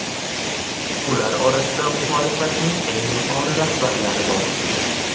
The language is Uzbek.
Ular orasida muxolifatning eng yuqori rahbarlari bor.